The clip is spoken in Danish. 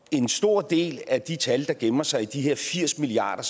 en stor del af de tal der gemmer sig i de her firs milliard